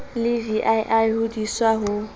le vii ho diswa ho